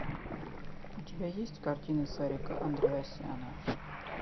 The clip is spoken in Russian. у тебя есть картина сарика андреасяна